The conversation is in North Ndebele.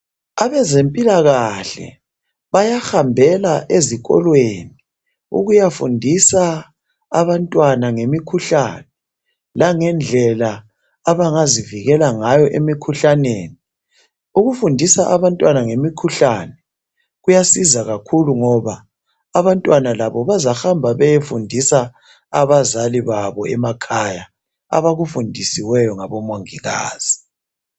Abezempilakahle bayahambela ezikolweni ukuyafundisa abantwana ngemikhuhlane langendlela abangazivikela ngayo emikhuhlaneni ukufundisa abantwana ngemikhuhlane kuyasiza kakhulu ngoba abantwana labo bazahamba beyefundisa abazali babo ngemakhaya abakufundisweyo ngomongikazi